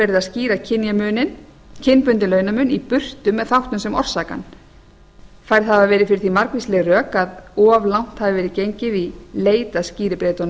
í raun verið að skýra kynbundinn launamun í burtu með þáttum sem orsaka hann færð hafa verið fyrir því margvísleg rök að of langt hafi verið gengið í leit að